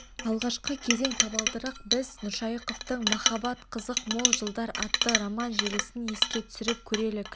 алғашқы кезең табалдырық біз нұршайықовтың махаббат қызық мол жылдар атты роман желісін еске түсіріп көрелік